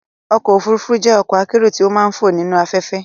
ọ̀kọ̀ ofúrúfú jẹ́ ọ̀kọ̀ akérò ti ó màà ń fò nīnu afẹ̀fẹ́